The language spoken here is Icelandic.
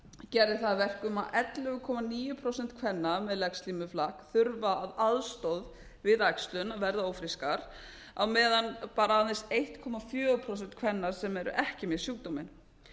gerði það að verkum að ellefu komma níu prósent kvenna með legslímuflakk þurfa aðstoð við æxlun að verða ófrískar á meðan aðeins einn komma fjögur prósent kvenna sem eru ekki með sjúkdóminn